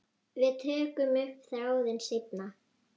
Við tökum upp þráðinn seinna.